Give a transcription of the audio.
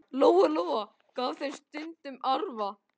Lóa-Lóa gaf þeim stundum arfa.